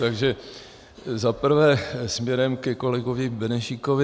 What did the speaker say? Takže za prvé směrem ke kolegovi Benešíkovi.